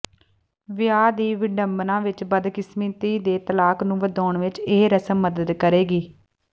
ਵਿਆਹ ਦੀ ਵਿਡੰਬਨਾ ਵਿਚ ਬਦਕਿਸਮਤੀ ਦੇ ਤਲਾਕ ਨੂੰ ਵਧਾਉਣ ਵਿਚ ਇਹ ਰਸਮ ਮਦਦ ਕਰੇਗੀ